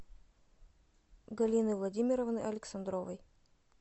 галины владимировны александровой